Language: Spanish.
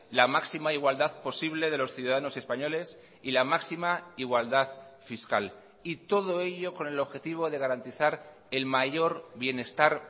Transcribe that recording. la máxima igualdad posible de los ciudadanos españoles y la máxima igualdad fiscal y todo ello con el objetivo de garantizar el mayor bienestar